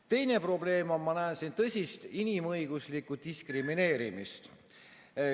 Teine probleem on see, et ma näen siin tõsist inimõiguslikku diskrimineerimist.